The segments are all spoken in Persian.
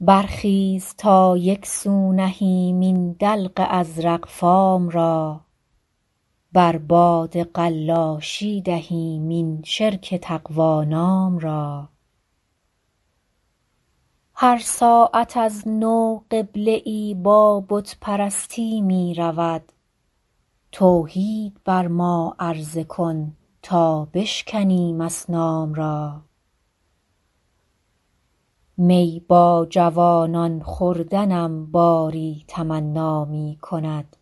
برخیز تا یک سو نهیم این دلق ازرق فام را بر باد قلاشی دهیم این شرک تقوا نام را هر ساعت از نو قبله ای با بت پرستی می رود توحید بر ما عرضه کن تا بشکنیم اصنام را می با جوانان خوردنم باری تمنا می کند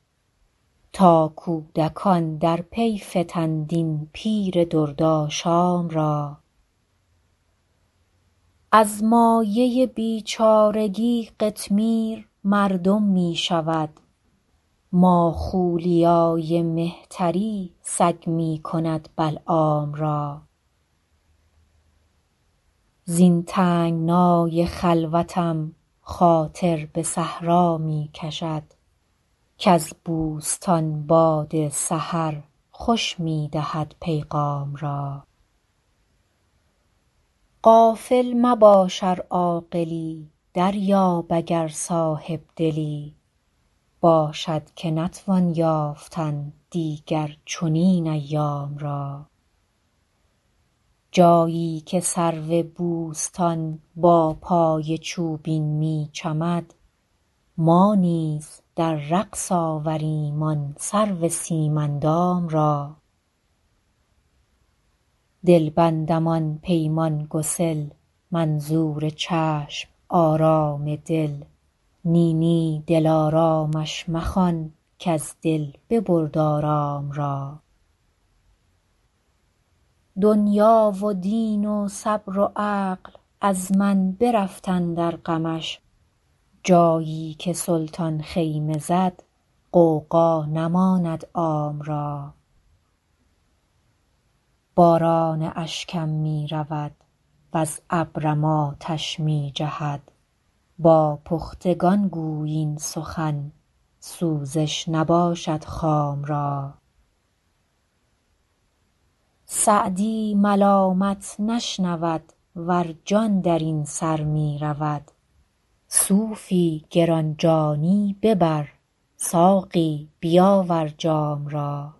تا کودکان در پی فتند این پیر دردآشام را از مایه بیچارگی قطمیر مردم می شود ماخولیای مهتری سگ می کند بلعام را زین تنگنای خلوتم خاطر به صحرا می کشد کز بوستان باد سحر خوش می دهد پیغام را غافل مباش ار عاقلی دریاب اگر صاحب دلی باشد که نتوان یافتن دیگر چنین ایام را جایی که سرو بوستان با پای چوبین می چمد ما نیز در رقص آوریم آن سرو سیم اندام را دلبندم آن پیمان گسل منظور چشم آرام دل نی نی دلآرامش مخوان کز دل ببرد آرام را دنیا و دین و صبر و عقل از من برفت اندر غمش جایی که سلطان خیمه زد غوغا نماند عام را باران اشکم می رود وز ابرم آتش می جهد با پختگان گوی این سخن سوزش نباشد خام را سعدی ملامت نشنود ور جان در این سر می رود صوفی گران جانی ببر ساقی بیاور جام را